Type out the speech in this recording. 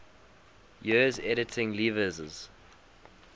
years editing lewes's